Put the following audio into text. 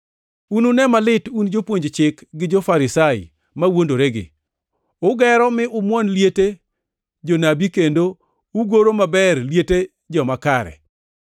“Unune malit un jopuonj chik gi jo-Farisai mawuondoregi! Ugero mi umwon liete jonabi kendo ugoro maber liete joma kare.